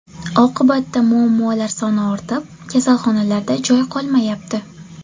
Oqibatda muammolar soni ortib, kasalxonalarda joy qolmayapti.